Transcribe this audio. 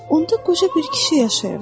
Orda qoca bir kişi yaşayırdı.